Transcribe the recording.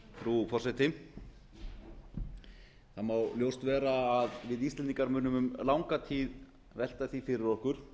frú forseti það má ljóst vera að við íslendingar munum um langa tíð velta því fyrir okkur